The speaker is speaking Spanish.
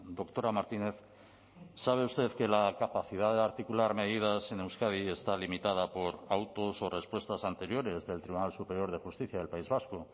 doctora martínez sabe usted que la capacidad de articular medidas en euskadi está limitada por autos o respuestas anteriores del tribunal superior de justicia del país vasco